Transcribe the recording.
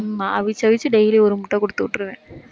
ஆமா, அவிச்சு அவிச்சு daily ஒரு முட்டை குடுத்து விட்டுருவேன்.